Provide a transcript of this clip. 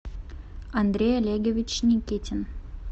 андрей олегович никитин